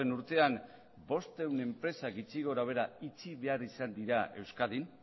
urtean bostehun enpresak gutxi gorabehera itxi behar izan dira euskadin